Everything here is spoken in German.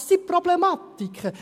Das ist die Problematik.